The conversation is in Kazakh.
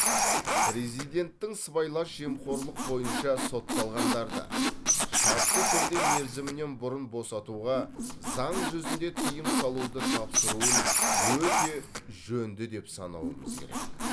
президенттің сыбайлас жемқорлық бойынша сотталғандарды шартты түрде мерзімінен бұрын босатуға заң жүзінде тыйым салуды тапсыруын өте жөнді деп санауымыз керек